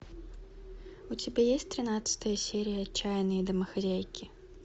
у тебя есть тринадцатая серия отчаянные домохозяйки